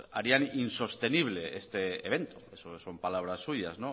harían insostenible este evento eso son palabras suyas